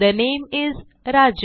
the name is Raju